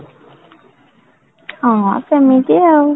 ହଁ, ହଁ ସେମିତି ଆଉ